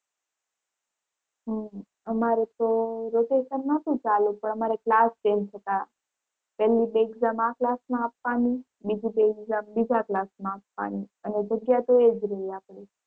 હમ અમારે તો rotation નહોતું ચાલુ પણ અમારે class change થતાં પહલી exam આ class માં આપવાની બીજી exam બીજા class માં આપવાની અને જગ્યા તો એ જ રહે આપણી.